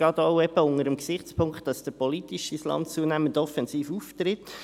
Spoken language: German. Dies gerade auch unter dem Gesichtspunkt, dass der politische Islam zunehmend offensiv auftritt.